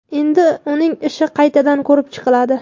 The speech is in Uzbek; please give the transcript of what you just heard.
Endi uning ishi qaytadan ko‘rib chiqiladi.